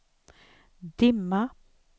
dimma